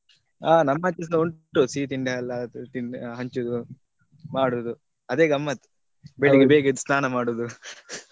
ಹ ನಮ್ಮ ಅಚೆಸ ಉಂಟು ಸಿಹಿ ತಿಂಡಿ ಎಲ್ಲ ತಿನ್ ಹಂಚುದು ಮಾಡುದು ಅದೆ ಗಮ್ಮತ್ ಬೆಳ್ಳಿಗೆ ಬೇಗ ಎದ್ದು ಸ್ನಾನ ಮಾಡುದು .